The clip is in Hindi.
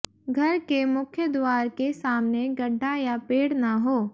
घर के मुख्यद्वार के सामने गड्ढा या पेड़ न हो